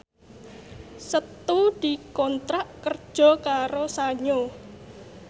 Setu dikontrak kerja karo Sanyo